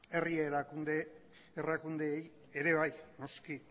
herri erakundeei ere bai noski